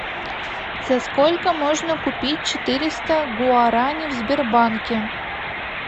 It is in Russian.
за сколько можно купить четыреста гуарани в сбербанке